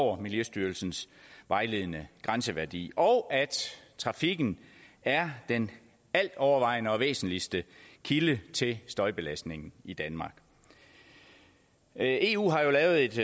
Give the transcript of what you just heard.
over miljøstyrelsens vejledende grænseværdi og at trafikken er den altovervejende og væsentligste kilde til støjbelastningen i danmark eu har lavet et